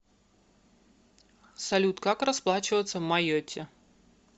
салют как расплачиваться в майотте